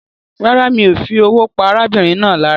Rárá, mi o fi owó pa arábìnrin náà lára